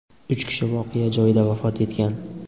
Uch kishi voqea joyida vafot etgan.